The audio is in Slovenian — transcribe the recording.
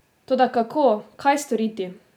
Toda, kako, kaj storiti?